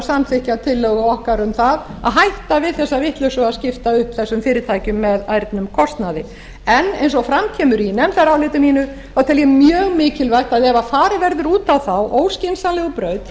samþykkja tillögu okkar um það að hætta við þessa vitleysu að skipta upp þessum fyrirtækjum með ærnum kostnaði en eins og fram kemur í nefndaráliti mínu tel ég mjög mikilvægt að ef farið verður út á þá óskynsamlegu braut